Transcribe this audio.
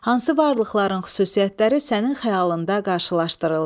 Hansı varlıqların xüsusiyyətləri sənin xəyalında qarşılaşdırıldı?